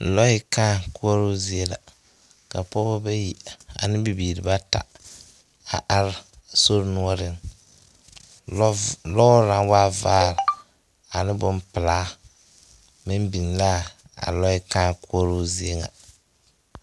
Lͻԑ kãã koͻroo zie la, ka pͻgebͻ bayi ane bibiiri bata a are sori noͻreŋ. Lͻͻv lͻͻre naŋ waa vaaa aneŋ bompelaa meŋ biŋ laa a lͻԑa kãã koͻroo zie ŋa.